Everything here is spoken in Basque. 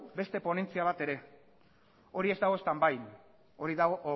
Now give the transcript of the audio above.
beste ponentzia bat ere hori ez dago stand byn hori dago off